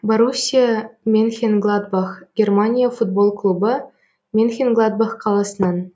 боруссия менхенгладбах германия футбол клубы менхенгладбах қаласынан